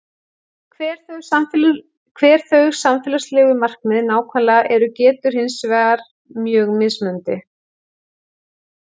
Hver þau samfélagslegu markmið nákvæmlega eru getur hins vegar verið mjög mismunandi.